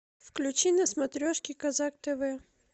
включи на смотрешке казах тв